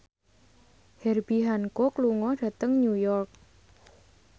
Herbie Hancock lunga dhateng New York